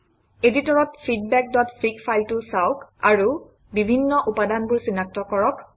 এডিটৰত feedbackফিগ ফাইলটো চাওক আৰু বিভিন্ন উপাদানবোৰ চিনাক্ত কৰক